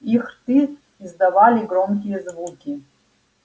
их рты издавали громкие звуки